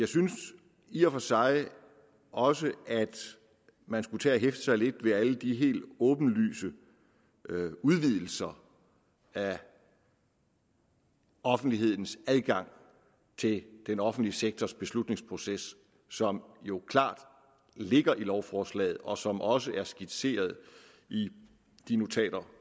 synes i og for sig også at man skulle tage at hæfte sig lidt ved alle de helt åbenlyse udvidelser af offentlighedens adgang til den offentlige sektors beslutningsproces som jo klart ligger i lovforslaget og som også er skitseret i de notater